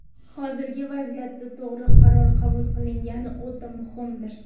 Hozirgi vaziyatda to‘g‘ri qaror qabul qilingani o‘ta muhimdir.